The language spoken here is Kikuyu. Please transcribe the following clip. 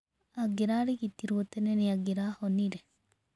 Angĩrarigitirwo tene nĩ angirahonire.